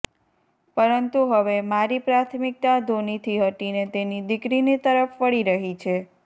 પરંતુ હવે મારી પ્રાથમિકતા ધોનીથી હટીને તેની દિકરીની તરફ વળી રહી છે